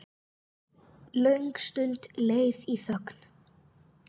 Löng stund leið í þögn.